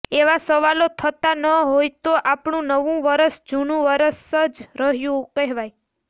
એવા સવાલો થતા ન હોય તો આપણું નવું વરસ જૂનું જ વરસ રહ્યું કહેવાય